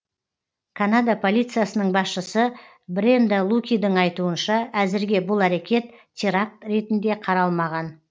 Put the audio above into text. канада полициясының басшысы бренда лукидің айтуынша әзірге бұл әрекет теракт ретінде қаралмаған